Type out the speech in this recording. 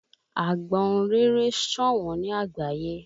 Àgbọ́ǹréré ṣọ̀wọ́n ní àgbáyé